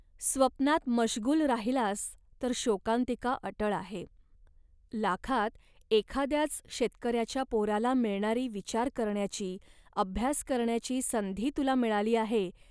स्वप्नात मश्गुल राहिलास तर शोकांतिका अटळ आहे. लाखात एकाद्याच शेतकऱ्याच्या पोराला मिळणारी विचार करण्याची, अभ्यास करण्याची संधी तुला मिळाली आहे